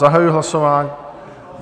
Zahajuji hlasování.